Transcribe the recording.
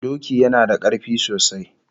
Doki yana da karfi sosai